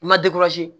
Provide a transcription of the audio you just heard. I ma